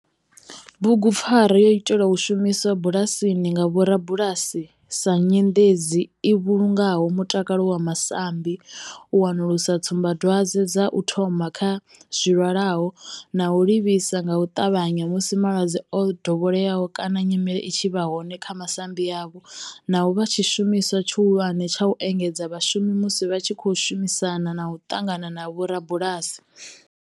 Bugupfarwa yo itelwa u shumiswa bulasini nga vhorabulasi sa nyendedzi u vhulunga mutakalo wa masambi, u wanulusa tsumbadwadzwe dza u thoma kha zwilwalaho na u livhisa nga u tavhanya musi malwadze o dovheleaho kana nyimele i tshi vha hone kha masambi avho, na u vha tshishumiswa tshihulwane tsha u engedzedza vhashumi musi vha tshi khou shumisana na u ṱangana na vhorabulasi.